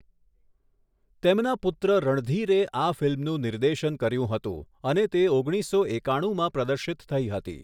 તેમના પુત્ર રણધીરે આ ફિલ્મનું નિર્દેશન કર્યું હતું અને તે ઓગણીસો એકાણુંમાં પ્રદર્શિત થઈ હતી.